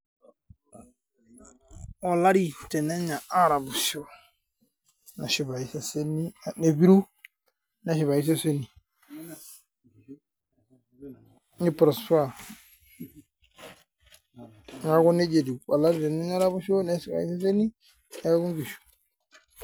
Olari tenenya araposho nepiru neshipayu iseseni , niprosper , neaku nkishu .